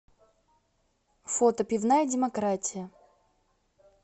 фото пивная демократия